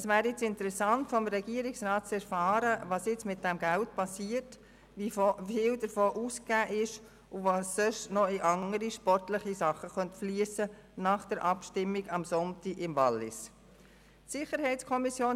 Es wäre nun interessant, vom Regierungsrat zu erfahren, was mit diesem Geld nach der Abstimmung vom letzten Sonntag im Wallis geschieht, wie viel davon ausgegeben wurde, und welche Beiträge noch in andere Sportprojekte fliessen könnten.